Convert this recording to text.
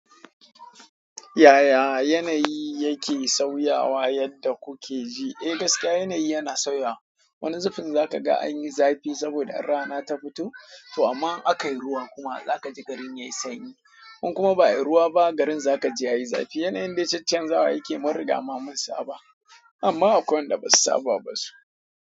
Yaya yanayi yake sauyawa yadda kuke ji? Eh gaskiya yanayi yana sauyawa. Wani zubin za ka ga an yi zafi saboda rana ta fito, to amma aka yi ruwa kuma za ka ji garin ya yi sanyi. In kuma ba a yi ruwa ba garin za ka ji ya yi zafi. Yanayin dai caccanza wa yakeyi mun riga ma mun saaba amma akwai wanda ba su saaba ba su.